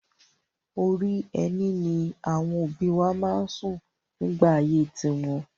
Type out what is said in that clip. Orí ẹní ni àwọn òbí wa máa ń sùn nígbà ayé tiwọn.